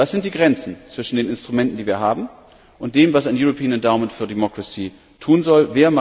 Was sind die Grenzen zwischen den Instrumenten, die wir haben, und dem, was ein European Endowment for Democracy tun soll?